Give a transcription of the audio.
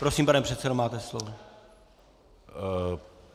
Prosím, pane předsedo, máte slovo.